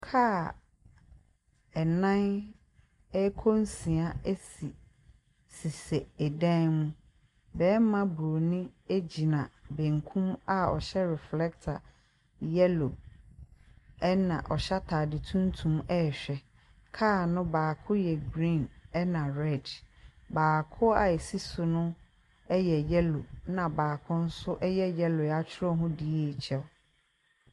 Kaa nnan rekɔ nsia si sisi dan mu. Barima buroni gyina benkum a ɔhyɛ reflector yellow, ɛnna ɔhyɛ atade tuntum rehwɛ. Kaa no baako yɛ green, ɛnna red. Baako a ɛsi so no yɛ yellow, ɛnna baako nso yellow a wɔatwerɛ ho DHL.